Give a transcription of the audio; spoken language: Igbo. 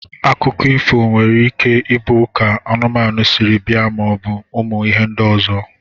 Akụkọ ifo nwere ike ibu ka anụmanu siri bia ma obu ụmụ ihe ndi ọzọ.